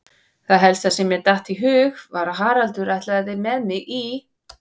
Það helsta sem mér datt í hug var að Haraldur ætlaði með mig í